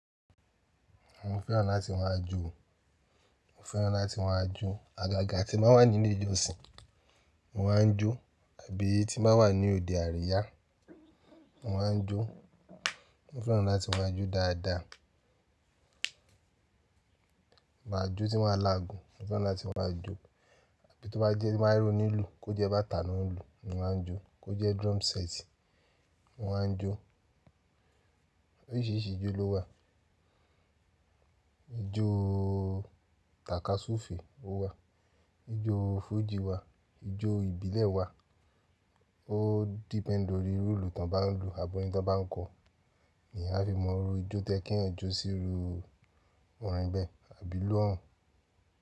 Mo fẹ́ràn láti máa jó. Mo fẹ́ràn láti máa jó. Àgàgà tí ń ba wà ní ilé ìjọsìn, mo máa ń jó. Àbí tí ba wà ní òde àríyá, mo máa ń jó. Mo fẹ́ràn láti máa jó dáadáa. Mo máa jó tí maa lagùn, mo fẹ́ràn láti máa jó. Tí yi to bá jẹ́ tí o ba je onílùú, kó jẹ́ bàtà náà ń lù, mo máa ń jó. Kó jẹ́ drum set, mo máa ń jó. Oríṣìíríṣìí ijó lówà. Ijó takaṣufe ò wà. Ijó fújì wà. Ijó ìbílẹ̀ wà. Ó depend lórí irú ilu tán bá ń lù àbọ́tin tán bá ń kọ. Èyan a fi mọ iru ijó to ye ki eyan jó síru ọ̀rìnbẹ́ àbí ilu ohun.